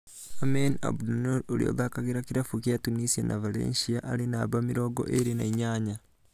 Aymen Abdennour ũria ũthakagira kĩravũkĩa Tunisia na Valencia arĩ namba mĩrongo ĩĩrĩ na inyanya